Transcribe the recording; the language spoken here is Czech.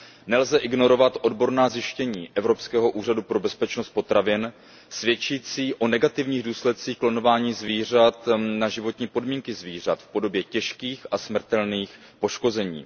Nelze ignorovat odborná zjištění Evropského úřadu pro bezpečnost potravin svědčící o negativních důsledcích klonování zvířat na životní podmínky zvířat v podobě těžkých a smrtelných poškození.